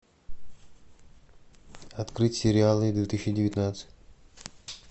открыть сериалы две тысячи девятнадцать